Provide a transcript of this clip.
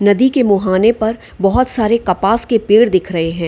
नदी के मोहाने पर बोहोत सारे कपास के पेड़ दिख रहे है।